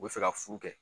U bɛ fɛ ka furu kɛ